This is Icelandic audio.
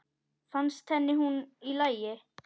Fannst henni hún í lagi?